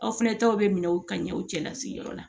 Aw fɛnɛ taw bɛ minɛ u ka ɲɛw cɛla sigiyɔrɔ la